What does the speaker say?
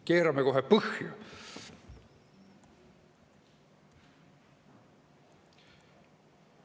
Keerame kohe põhja!